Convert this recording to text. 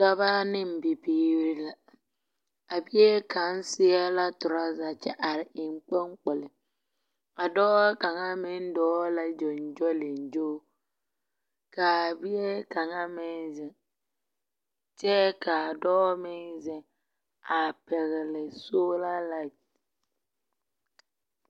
Dɔbɔ ne bibiiri la. A bie kaŋa seɛ la torɔza kyɛ are eŋkoŋkpol. A dɔɔ kaŋa meŋ dɔɔ la gyoŋgyoliŋgyo, kaa bie kaŋa meŋ zeŋ, kyɛ kaa dɔɔ meŋ zeŋ a pɛgele soola laete.